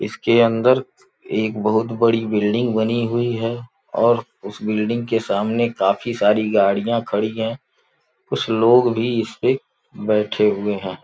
इसके अंदर एक बहुत बड़ी बिल्डिंग बनी हुई है और उस बिल्डिंग के सामने काफी सारी गाड़ियां खड़ी हैं कुछ लोग भी इस पे बैठे हुए हैं।